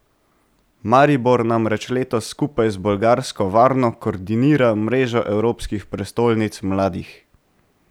Maribor namreč letos skupaj z bolgarsko Varno koordinira Mrežo Evropskih prestolnic mladih.